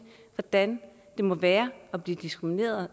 hvordan det må være at blive diskrimineret